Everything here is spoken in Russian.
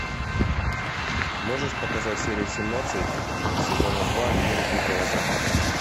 можешь показать серия семнадцать сезона два мир дикого запада